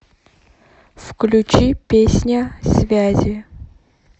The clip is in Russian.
включи песня связи